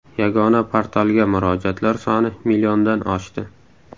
Yagona portalga murojaatlar soni milliondan oshdi.